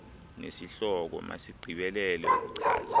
nesihloko masigqibelele ukuchaza